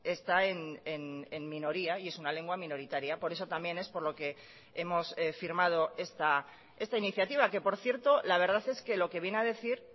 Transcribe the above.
está en minoría y es una lengua minoritaria por eso también es por lo que hemos firmado esta iniciativa que por cierto la verdad es que lo que viene a decir